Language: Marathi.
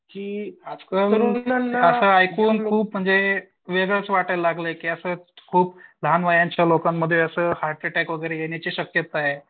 की आजकाल ऐकून खूप म्हणजे वेगळं वाटायला लागलंय की असं खूप लहान वयाचे लोकंमध्ये असे हर्ट अटॅक वगैरे येण्याची शक्यता आहे.